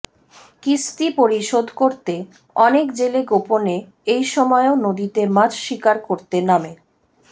কিস্তি পরিশোধ করতে অনেক জেলে গোপনে এই সময়েও নদীতে মাছ শিকার করতে নামে